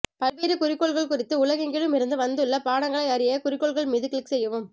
பல்வேறு குறிக்கோள்கள் குறித்து உலகெங்கிலும் இருந்து வந்துள்ள பாடங்களை அறிய குறிக்கோள்கள் மீது கிளிக் செய்யவும்